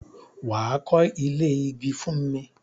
Wà á kọ́ ilé igi fún mi!